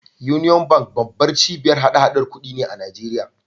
Union Bank babbar cibiyar hada-hadar kuɗi ne a Najeriya.